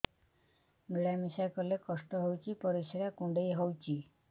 ମିଳା ମିଶା କଲେ କଷ୍ଟ ହେଉଚି ପରିସ୍ରା କୁଣ୍ଡେଇ ହଉଚି